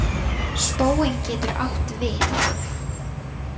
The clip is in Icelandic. Spónn getur átt við